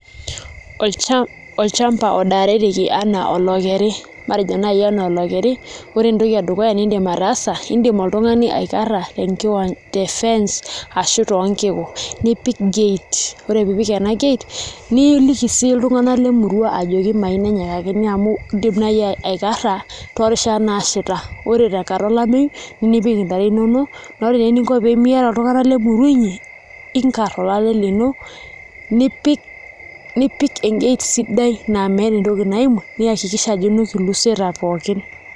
Olchamba odaareki enaa olokeri matejo naai enaa olokeri, ore entoki edukuya niidim ataasa indim oltung'ani akarra tefence ashu toonkiku nipik gate ore pee ipik ena gate niliki sii iltung'anak lemurua ajoki enayakini amu iindim naai aikarra toorishat naashaita ore tenkata olameyu nipik ntare inonok ore eninko pee miata iltung'anak lemurua inyi niinkarr olale lino nipik engate sidai naa meeta entoki naimu niakikisha ajo inuk ilusieta pooki.